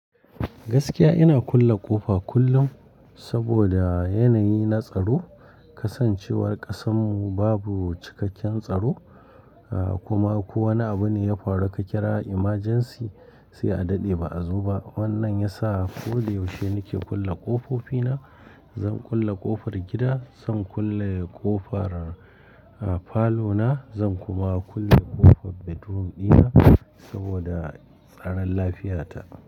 Gaskiya ina kulle ƙofa kullum saboda yanayi na tsaro, kasancewar ƙasanmu babu cikakken tsaro kuma ko wane abu ne ya faru ka kira emergency sai a daɗe ba a zo ba. Wannan ya sa ko da yaushe nake kulle ƙofofi na. Zan kulle ƙofar gida, zan kulle ƙofar falo na, zan kuma kulle ƙofar bedroom dina saboda tsaron lafiyata.